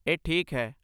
ਇਹ ਠੀਕ ਹੈ।